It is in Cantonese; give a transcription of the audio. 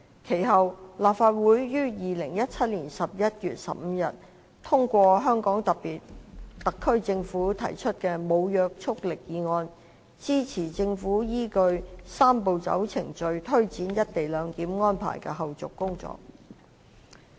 其後，立法會於2017年11月15日通過香港特區政府提出的無約束力議案，支持政府依據"三步走"程序推展"一地兩檢"安排的後續工作。